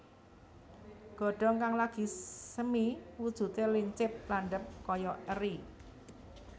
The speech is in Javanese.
Godhong kang lagi semi wujudé lincip landhep kaya eri